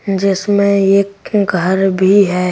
जिसमें एक घर भी है।